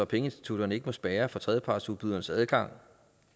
pengeinstitutterne ikke må spærre for tredjepartsudbydernes adgang